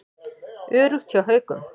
Öruggt hjá Haukum